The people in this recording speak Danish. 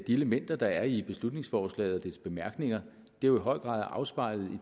at de elementer der er i beslutningsforslaget og dets bemærkninger i høj grad er afspejlet